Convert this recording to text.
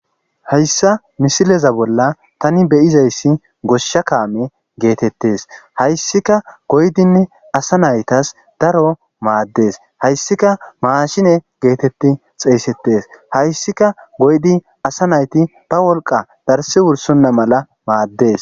hayssa misileza bolla tani be7izayssi goshsha kaame geetettes hayssika goyidinne asa naytas daro maaddes hayssika maashine geetetti xeeyssettes hayssika goydi asa nayti ba wolqqa darssi wursonna mala maaddes.